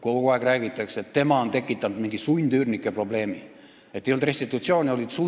Kogu aeg räägitakse, et tema on tekitanud mingi sundüürnike probleemi, et restitutsiooni ei ole olnud.